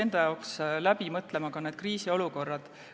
Riik peaks läbi mõtlema ka kriisiolukorrad.